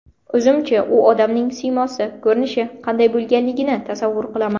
O‘zimcha u odamning siymosi, ko‘rinishi qanday bo‘lganligini tasavvur qilaman.